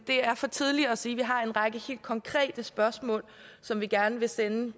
er for tidligt at sige vi har en række helt konkrete spørgsmål som vi gerne vil sende